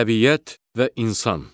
Təbiət və insan.